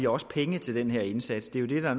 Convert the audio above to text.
også penge til den her indsats det der